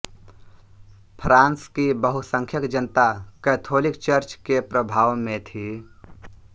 France की बहुसंख्यक जनता कैथोलिक चर्च के प्रभाव में थी